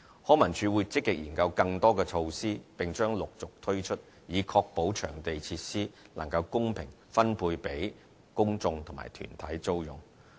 康文署會積極研究更多措施，並將陸續推出，以確保場地設施能公平分配予公眾及團體租用。